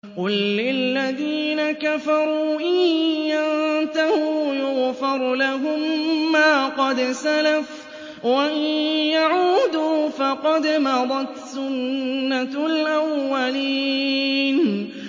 قُل لِّلَّذِينَ كَفَرُوا إِن يَنتَهُوا يُغْفَرْ لَهُم مَّا قَدْ سَلَفَ وَإِن يَعُودُوا فَقَدْ مَضَتْ سُنَّتُ الْأَوَّلِينَ